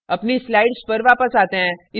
अपनी slides पर वापस आते हैं